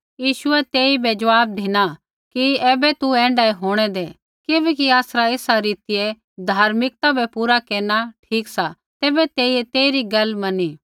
यीशुऐ तेइबै ऐ ज़वाब धिना कि ऐबै तू ऐण्ढाऐ होंणै दै किबैकि आसरा एसा रीतियै धार्मिकता बै पूरा केरना ठीक सा तैबै तेइयै तेइरी गैल मनी